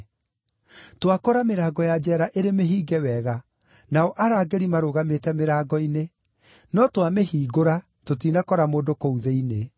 “Twakora mĩrango ya njeera ĩrĩ mĩhinge wega, nao arangĩri marũgamĩte mĩrango-inĩ; no twamĩhingũra, tũtinakora mũndũ kũu thĩinĩ.”